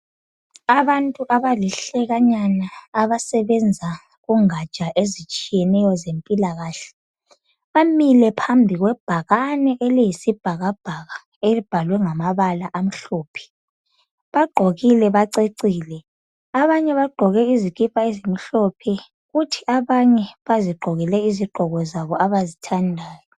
Abantu abalihlekanyana abasebenza kungaja ezitshiyeneyo zempilakahle bamile phambi kwebhakane eliyisibhakabhaka elibhalwe ngamabala amhlophe, bagqokile bacecile, abanye bagqoke izikipa ezimhlophe kuthi abanye bazigqokele izigqoko zabo abazithandayo.